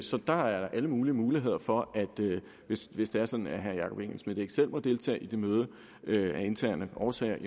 så der er alle muligheder for hvis herre jakob engel schmidt ikke selv må deltage i det møde af interne årsager at